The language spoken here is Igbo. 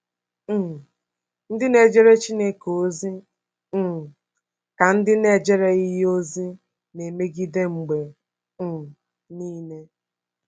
um Ndị na-ejere Chineke ozi um ka ndị na-ejereghị ya ozi na-emegide mgbe um nile.